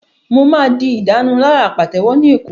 Mo máa di ìdárunlárà pàtẹ́wọ́ ní Èkó